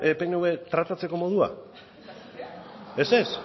pnv tratatzeko modua ez ez